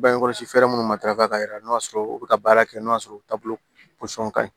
Bange kɔlɔsi fɛɛrɛ minnu ma dafa ka yɛlɛn n'a sɔrɔ u bɛ ka baara kɛ n'o y'a sɔrɔ taabolo ka ɲi